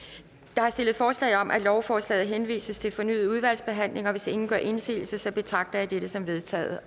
der er stillet forslag om at lovforslaget henvises til fornyet udvalgsbehandling og hvis ingen gør indsigelse betragter jeg det som vedtaget